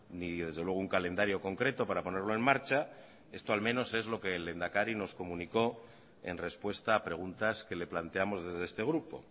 ni desde luego un calendario concreto para ponerlo en marcha esto al menos es lo que el lehendakari nos comunicó en respuesta a preguntas que le planteamos desde este grupo